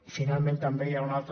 i finalment també hi ha un altre